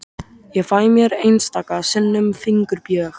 Ég fæ mér einstaka sinnum fingurbjörg.